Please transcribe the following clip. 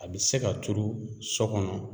A bi se ka turu so kɔnɔ